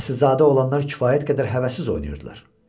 Əsilzadə olanlar kifayət qədər həvəssiz oynayırdılar.